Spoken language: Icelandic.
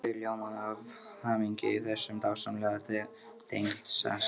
Þau ljómuðu af hamingju yfir þessum dásamlega tengdasyni.